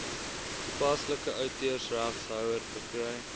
toepaslike outeursreghouer verkry